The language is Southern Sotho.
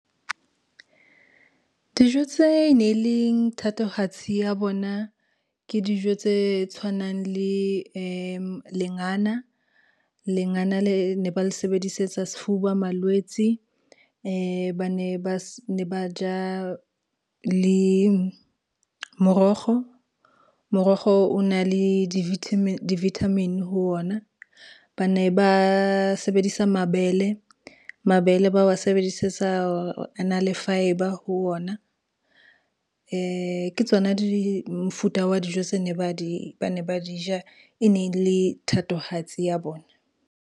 Dijo tse ne leng thatohatsi ya bona, ke dijo tse tshwanang le lengana. Lengana le ne ba le sebedisetsa sefuba malwetsi, ba ne ba ja le morokgo. Morokgo o na le di-vitamin ho ona, ba ne ba sebedisa mabele, mabele ba wa sebedisetsa a na le fibre ho ona. Ke tsona mofuta wa dijo tse ba ne ba di ja e ne le thatohatsi ya bona.